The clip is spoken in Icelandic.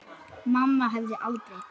Mamma hefði aldrei.